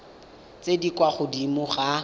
tse di kwa godimo ga